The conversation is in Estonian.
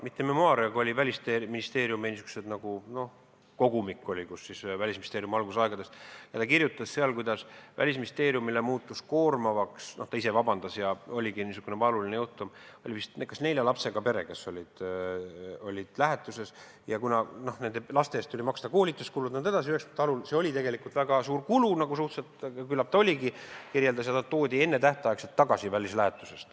Mitte memuaare, see oli Välisministeeriumi kogumik ministeeriumi algusaegadest, ja ta kirjutas seal, kuidas Välisministeeriumile muutus see asi koormavaks – ta ise palus vabandust – ja oli isegi niisugune valuline juhtum, et oli vist nelja lapsega pere, kes oli lähetuses, ja kuna laste eest tuli maksta koolituskulusid jne, 1990-ndate alul oli see väga suur kulu, siis nad toodi enne tähtaega välislähetusest tagasi.